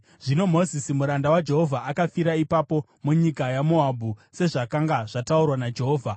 Zvino Mozisi muranda waJehovha akafira ipapo munyika yaMoabhu, sezvakanga zvataurwa naJehovha.